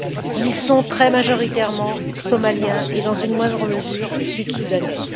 Ils sont très majoritairement Somaliens et, dans une moindre mesure, Sud Soudanais.